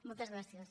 moltes gràcies